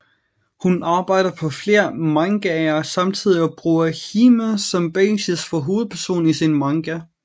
Hun arbejder på flere mangaer samtidig og bruger Hime som basis for hovedpersonen i sin manga